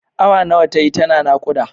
Awa nawa tayi tana naƙuda?